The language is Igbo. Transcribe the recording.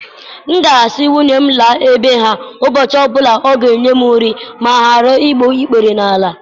M ga-asị nwunye m laa bee ha ụbọchị ọ bụla ọ ga-enye m nri ma ghara igbu ikpere n'ala.